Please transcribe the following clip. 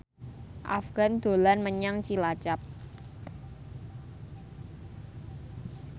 Afgan dolan menyang Cilacap